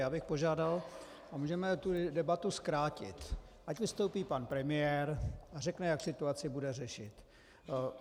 Já bych požádal, a můžeme tu debatu zkrátit, ať vystoupí pan premiér a řekne, jak situaci bude řešit.